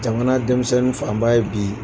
Jamana denmisɛnnin fanba ye bi